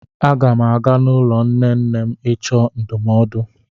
Aga m aga n'ụlọ nne nne m ịchọ ndụmọdụ.